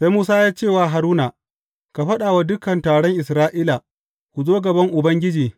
Sai Musa ya ce wa Haruna, Ka faɗa wa dukan taron Isra’ila, Ku zo gaban Ubangiji,